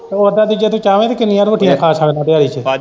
ਉੱਦਾ ਵੀ ਜੇ ਤੂੰ ਚਾਹਵੇ ਕਿੰਨੀਆਂ ਰੋਟੀਆਂ ਖਾ ਸਕਦਾ ਦਿਹਾੜੀ ਚ।